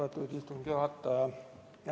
Austatud istungi juhataja!